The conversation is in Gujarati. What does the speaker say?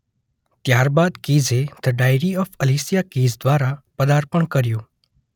ત્યારબાદ કીઝે the diary of Alicia Keys દ્વારા પદાર્પણ કર્યું